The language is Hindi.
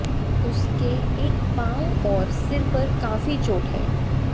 उसके एक पांव और सिर में काफी चोट है